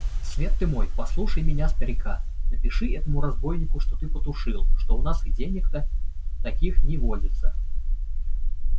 свет ты мой послушай меня старика напиши этому разбойнику что ты потушил что у нас и денег-то таких не водится